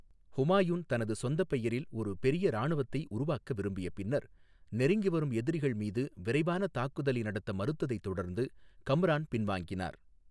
ஹுமாயூன் தனது சொந்த பெயரில் ஒரு பெரிய இராணுவத்தை உருவாக்க விரும்பிய பின்னர், நெருங்கி வரும் எதிரிகள் மீது விரைவான தாக்குதலை நடத்த மறுத்ததைத் தொடர்ந்து கம்ரான் பின்வாங்கினார்.